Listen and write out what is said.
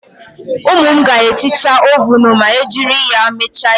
Ụmụ m ga-ehicha ovunu ma e jiri ya mecha ihe